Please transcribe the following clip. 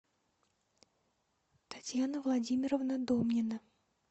татьяна владимировна домнина